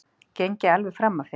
Geng ég alveg fram af þér?